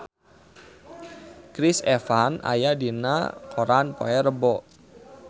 Chris Evans aya dina koran poe Rebo